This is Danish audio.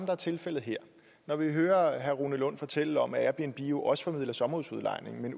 er tilfældet her når vi hører herre rune lund fortælle om airbnb der jo også formidler sommerhusudlejning